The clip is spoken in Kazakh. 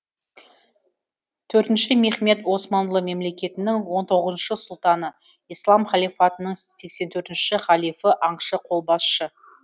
төртінші мехмет османлы мемлекетінің он тоғызыншы сұлтаны ислам халифатының сексен төртінші халифі аңшы қолбасшы